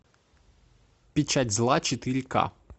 печать зла четыре ка